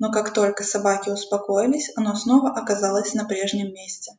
но как только собаки успокоились оно снова оказалось на прежнем месте